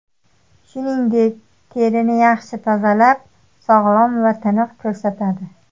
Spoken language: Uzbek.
Shuningdek, terini yaxshi tozalab, sog‘lom va tiniq ko‘rsatadi.